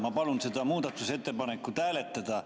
Ma palun seda muudatusettepanekut hääletada.